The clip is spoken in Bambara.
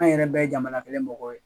An yɛrɛ bɛ ye jamana kelen mɔgɔ ye.